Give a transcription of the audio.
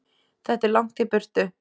Þetta er langt í burtu.